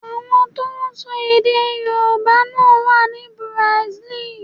Àwọn tó ń sọ èdè Yorùbá náà wá ní Bùràsílì.